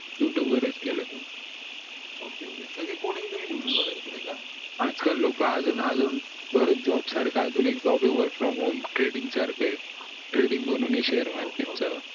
youtube वर च केल ok ok सगळे coding तुम्ही youtube वरून च केले का आज काल लोक अजून अजून परंतबरेच job सारखं अजून एक job work from homethreading सारखं ये threading म्हणून ये share market च